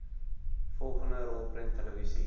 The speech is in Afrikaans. vollengte rolprent televisie